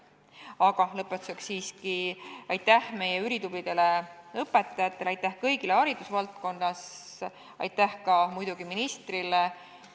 Aga lõpetuseks siiski aitäh meie ülitublidele õpetajatele, aitäh kõigile haridusvaldkonnas ja aitäh muidugi ka ministrile!